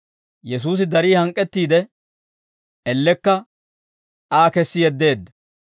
Yesuusi darii hank'k'ettiide, ellekka Aa kessi yeddeedda.